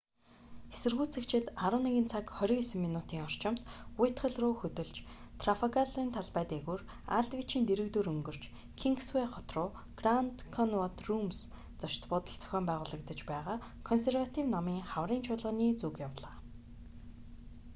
эсэргүүцэгчид 11:29 цагийн орчимд уитхалл руу хөдөлж трафалгарын талбай дээгүүр алдвичийн дэргэдүүр өнгөрч кингсвэй хот руу гранд коннаут рүүмс зочид буудалд зохион байгуулагдаж байгаа консерватив намын хаврын чуулганы зүг явлаа